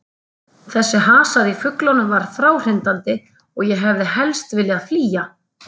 Þessi hasar í fuglunum var fráhrindandi og ég hefði helst viljað flýja.